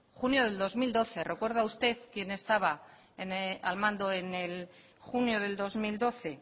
junio del dos mil doce recuerda usted quién estaba al mando en junio del dos mil doce